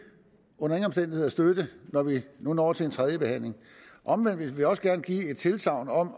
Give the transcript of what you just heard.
under ingen omstændigheder støtte når vi nu når til tredjebehandlingen omvendt vil vi også gerne give et tilsagn om at